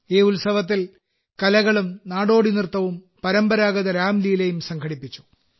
ഈ ഉത്സവത്തിൽ കലകളും നാടോടി നൃത്തവും പരമ്പരാഗത രാംലീലയും സംഘടിപ്പിച്ചു